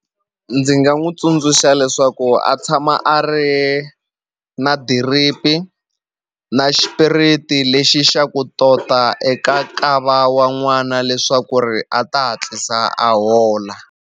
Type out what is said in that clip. Ndzi nga n'wu tsundzuxa leswaku a tshama a ri na diripi na xipiriti lexi xa ku tota eka nkava wa n'wana leswaku ri a ta hatlisa a hola.